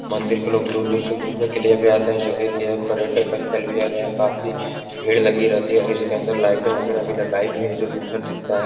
मंदिर के लोग दूर-दूर से घुमने के लिए भी आते हैं जो एक यह पर्यटक स्थल भी है और यहाँ काफी भीड़ लगी रहती है और इसके अन्दर लाईटे वगैरह भी लगाई गई हैं जो सुंदर दिखता है।